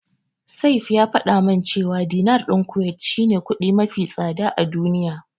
Saif ya faɗa min cewa Dinar din Kuwait shine kudi mafi tsada a duniya.